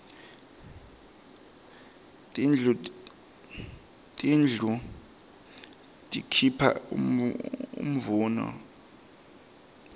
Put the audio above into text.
tindlu tikuipha imvuno